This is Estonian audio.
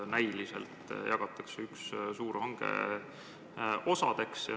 Näiliselt jagatakse üks suur hange osadeks.